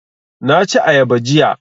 Na ci ayaba jiya